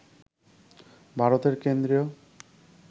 ভারতের কেন্দ্রীয়